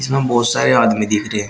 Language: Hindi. यहां बहुत सारे आदमी दिख रहे हैं।